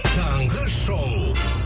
таңғы шоу